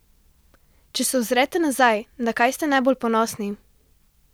Če se ozrete nazaj, na kaj ste najbolj ponosni?